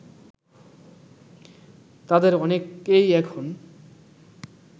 তাদের অনেকেই এখন